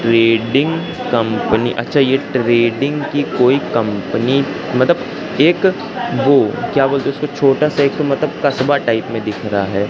Trading company अच्छा ये trading की कोई कंपनी मतलब एक वो क्या बोलते हैं उसको छोटासा एक मतलब कसबा टाइप में दिख रहा है।